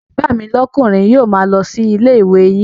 Ọmọ bàbá mi lókùnri yio ma lo si ilé ìwé yin